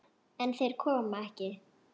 En þeir koma ekki.